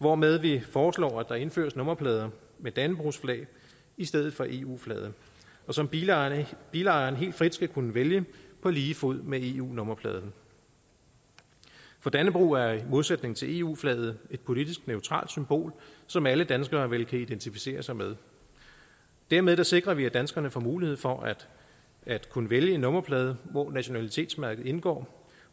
hvormed vi foreslår at der indføres nummerplader med dannebrogsflag i stedet for eu flaget og som bilejeren bilejeren helt frit skal kunne vælge på lige fod med eu nummerpladen for dannebrog er i modsætning til eu flaget et politisk neutralt symbol som alle danskere vel kan identificere sig med dermed sikrer vi at danskerne får mulighed for at kunne vælge en nummerplade hvor nationalitetsmærket indgår